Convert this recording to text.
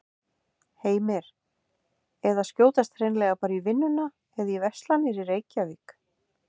Heimir: Eða skjótast hreinlega bara í vinnuna eða í verslanir í Reykjavík?